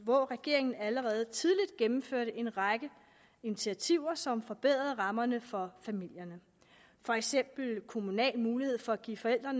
hvor regeringen allerede tidligt gennemførte en række initiativer som forbedrede rammerne for familierne for eksempel kommunal mulighed for at give forældre